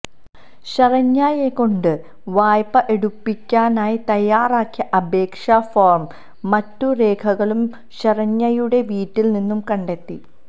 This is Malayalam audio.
ശരണ്യയെക്കൊണ്ട് വായ്പ എടുപ്പിക്കാനായി തയാറാക്കിയ അപേക്ഷ ഫോമും മറ്റു രേഖകളും ശരണ്യയുടെ വീട്ടിൽ നിന്നു കണ്ടെത്തി